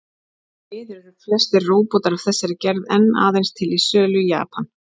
Því miður eru flestir róbótar af þessari gerð enn aðeins til sölu í Japan.